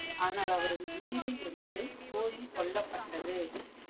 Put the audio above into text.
ஆனால் அவரது குதிரை ஒன்று போரில் கொல்லப்பட்டது.